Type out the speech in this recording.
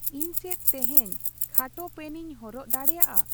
ᱤᱧ ᱪᱮᱫ ᱛᱮᱦᱮᱧ ᱠᱷᱟᱴᱚ ᱯᱮᱱᱤᱧ ᱦᱚᱨᱚᱜ ᱫᱟᱲᱮᱭᱟᱜᱼᱟ?